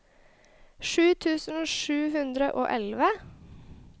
sju tusen sju hundre og elleve